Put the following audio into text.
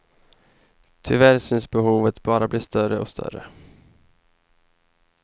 Tyvärr syns behovet bara bli större och större.